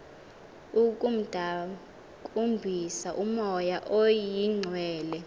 ukumdakumbisa umoya oyingcwele